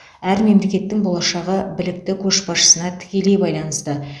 әр мемлекеттің болашағы білікті көшбасшысына тікелей байланысты